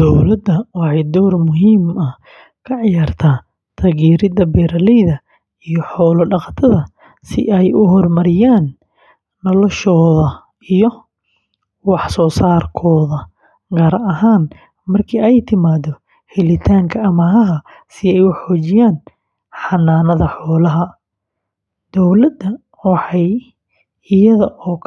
Dowladda waxay door muhiim ah ka ciyaartaa taageeridda beeraleyda iyo xoolo-dhaqatada si ay u horumariyaan noloshooda iyo wax-soo-saarkooda, gaar ahaan marka ay timaado helitaanka amaahaha si ay u xoojiyaan xanaanada xoolaha. Dowladda waxay iyada oo